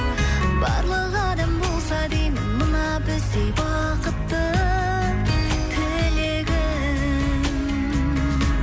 барлық адам болса деймін мына біздей бақытты тілегім